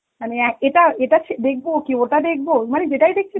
মানে এক এটা~ এটা ছে~ দেখব কি ওটা দেখব মানে যেটাই দেখছি